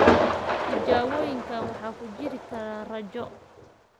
Tijaabooyinkan waxaa ku jiri kara raajo, magnetic resonance imaging (MRI) iyo/ama sawir-qaadista (CT scan).